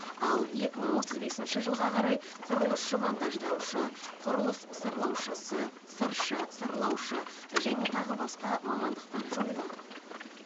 ал екі мың отыз бесінші жылға қарай құрылысшы монтаждаушы құрылыс сырлаушысы сыршы сырлаушы және тағы басқа мамандықтар жойылады